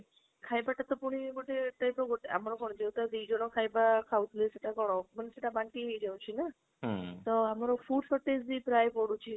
ଖାଇବାଟା ପୁଣି ଗୋଟେ type of ଗୋଟେ ଆମର କଣ ଯୋଉଟା ଦିଜନ ଖାଇବା କହୁଥିଲେ ସେଟା କଣ, ସେଟା ବାନ୍ତି ହେଇ ଯାଉଛି ନା ତ ଆମର food shortage ବି ପ୍ରାଯ ବଢୁଛି